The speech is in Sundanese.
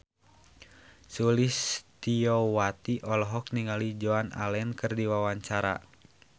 Sulistyowati olohok ningali Joan Allen keur diwawancara